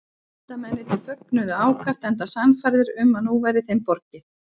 Vísindamennirnir fögnuðu ákaft enda sannfærðir um að nú væri þeim borgið.